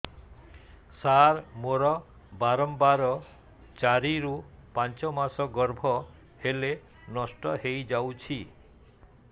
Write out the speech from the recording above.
ସାର ମୋର ବାରମ୍ବାର ଚାରି ରୁ ପାଞ୍ଚ ମାସ ଗର୍ଭ ହେଲେ ନଷ୍ଟ ହଇଯାଉଛି